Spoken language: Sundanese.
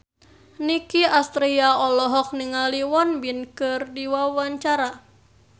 Nicky Astria olohok ningali Won Bin keur diwawancara